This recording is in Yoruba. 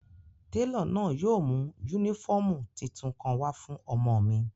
Telo náa yóò mu unifọmú titun kan wa fun ọmọ mi.